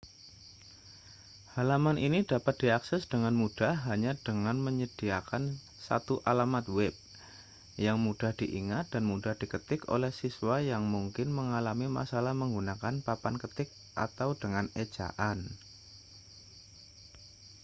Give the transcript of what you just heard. halaman ini dapat diakses dengan mudah hanya dengan menyediakan satu alamat web yang mudah diingat dan mudah diketik oleh siswa yang mungkin mengalami masalah menggunakan papan ketik atau dengan ejaan